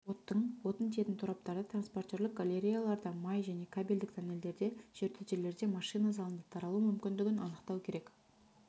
оттың отын тиейтін тораптарда транспортерлік галереяларда май және кабельдік тоннельдерде жертөлелерде машина залында таралу мүмкіндігін анықтау керек